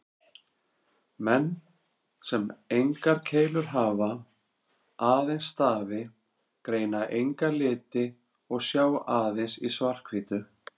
Menn sem engar keilur hafa, aðeins stafi, greina enga liti og sjá aðeins í svart-hvítu.